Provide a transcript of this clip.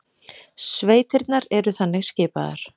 Sveitirnar eru þannig skipaðar